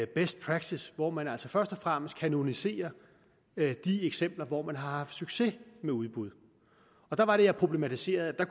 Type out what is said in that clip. best practice hvor man altså først og fremmest kanoniserer de eksempler hvor man har haft succes med udbud og der var det jeg problematiserede at